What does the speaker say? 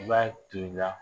I b'a tu i la.